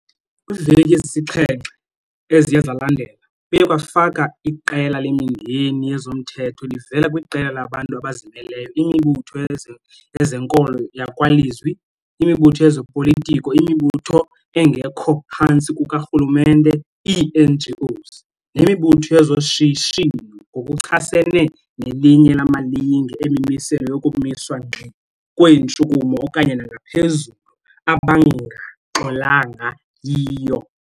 Kwiiveki ezisixhenxe, 7, eziye zalandela, kuye kwafakwa iqela lemingeni yezomthetho livela kwiqela labantu abazimeleyo, imibutho yezenkolo yakwalizwi, imibutho yezopolitiko, imibutho engekho phantsi kukarhulumente, ii-NGOs, nemibutho yezoshishino ngokuchasene nelinye lamalinge emimiselo yokumiswa ngxi kweentshukumo okanye nangaphezulu abangaxolanga yiyo.